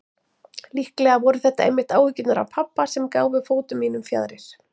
Líklega voru það einmitt áhyggjurnar af pabba sem gáfu fótum mínum fjaðrir.